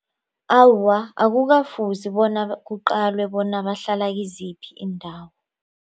Awa akukafuzi bona kuqalwe bona bahlala kiziphi iindawo.